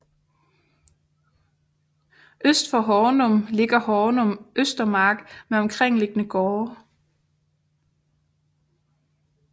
Øst for Hornum ligger Hornum Østermark med omkringliggende gårde